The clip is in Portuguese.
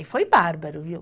E foi bárbaro, viu?